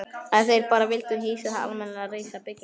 Ef þeir bara vildu hýsa það almennilega, reisa byggingu.